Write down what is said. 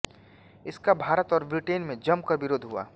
इसका भारत और ब्रिटेन में जम कर विरोध हुआ